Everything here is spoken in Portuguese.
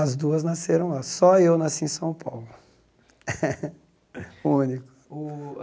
As duas nasceram lá, só eu nasci em São Paulo, o único.